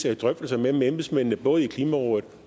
er drøftelser mellem embedsmændene både i klimarådet